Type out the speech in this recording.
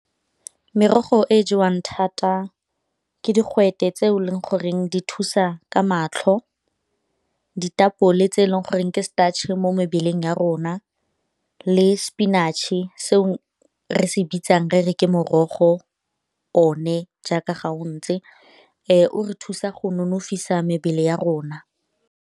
Merogo e e jewang thata ke digwete tse e leng goreng di thusa ka matlho, ditapole tse e leng goreng ke mo mebeleng ya rona le sepinatšhe se re se bitsang re re ke morogo jaaka ga o ntse o re thusa go nonofisa mebele ya rona.